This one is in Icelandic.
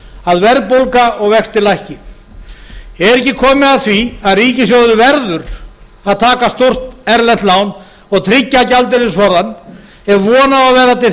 að verðbólga og vextir lækki er ekki komið að því að ríkissjóður verði að taka stórt erlent lán og tryggja gjaldeyrisforðann ef von á vera til þess